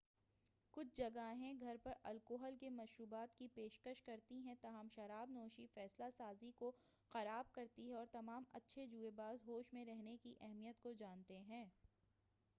کُچھ جگہیں گھر پر الکحل کے مشروبات کی پیشکش کرتی ہیں تاہم شراب نوشی فیصلہ سازی کو خراب کرتی ہے اور تمام اچھے جوئے باز ہوش میں رہنے کی اہمیت کو جانتے ہیں